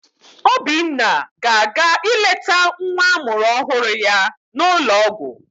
Obinna ga-aga ileta nwa amụrụ ọhụrụ ya n'ụlọọgwụ.